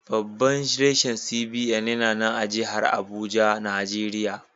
Babban rashin CBN yana nan a jahar Abuja, Najeriya.